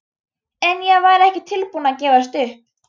En ég var ekki tilbúin að gefast upp.